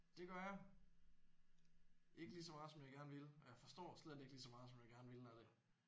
Det gør jeg. Ikke lige så meget som jeg gerne ville og jeg forstår slet ikke lige så meget som jeg gerne ville af det